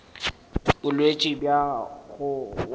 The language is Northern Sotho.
ke bolwetši bja go wa